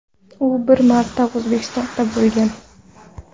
U bir marta O‘zbekistonda bo‘lgan.